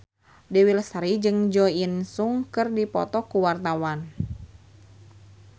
Dewi Lestari jeung Jo In Sung keur dipoto ku wartawan